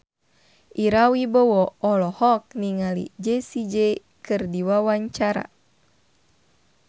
Ira Wibowo olohok ningali Jessie J keur diwawancara